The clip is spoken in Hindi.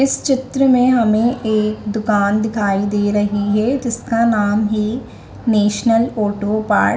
इस चित्र में हमें एक दुकान दिखाई दे रही है जिसका नाम है नेशनल ऑटो पार्ट --